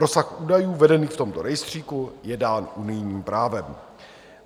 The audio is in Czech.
Rozsah údajů vedených v tomto rejstříku je dán unijním právem.